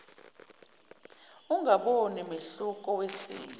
ungaboni mehluko wesimo